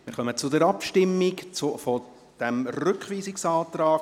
Wir kommen zur Abstimmung über den Rückweisungsantrag.